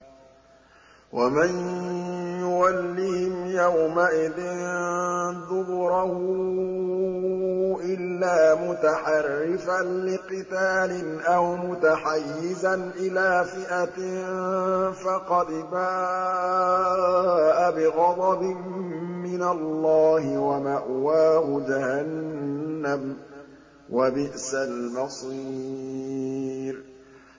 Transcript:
وَمَن يُوَلِّهِمْ يَوْمَئِذٍ دُبُرَهُ إِلَّا مُتَحَرِّفًا لِّقِتَالٍ أَوْ مُتَحَيِّزًا إِلَىٰ فِئَةٍ فَقَدْ بَاءَ بِغَضَبٍ مِّنَ اللَّهِ وَمَأْوَاهُ جَهَنَّمُ ۖ وَبِئْسَ الْمَصِيرُ